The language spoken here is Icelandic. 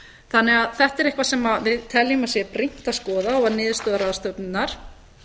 þannig að þetta er eitthvað sem við teljum að sé brýnt að skoða og var niðurstaða ráðstefnunnar